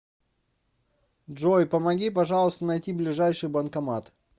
джой помоги пожалуйста найти ближайший банкомат